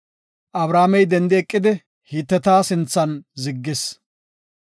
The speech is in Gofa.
Abrahaamey dendi eqidi, Hiteta sinthan ziggis.